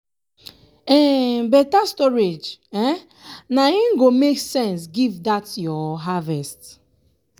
um beta storage um na im go make sense give dat um your harvest.